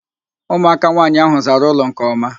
Ụmụaka nwaanyị ahụ zara ụlọ nke ọma